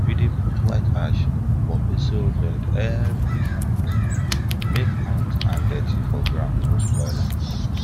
we dey put white ash for basil for basil bed every month make ant and dirty for ground no spoil am